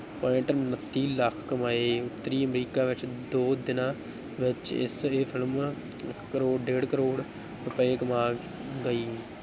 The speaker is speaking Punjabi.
Point ਉਣੱਤੀ ਲੱਖ ਕਮਾਏ, ਉੱਤਰੀ ਅਮਰੀਕਾ ਵਿੱਚ ਦੋ ਦਿਨਾਂ ਵਿੱਚ ਇਸ ਇਹ film ਇੱਕ ਕਰੌ ਡੇਢ ਕਰੌੜ ਰੁਪਏ ਕਮਾ ਗਈ।